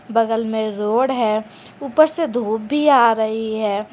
बगल में रोड है ऊपर से धूप भी आ रही है।